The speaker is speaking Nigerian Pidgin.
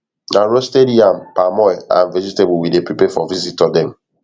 na roasted yam palm oil and vegetable we dey prepare for visitor dem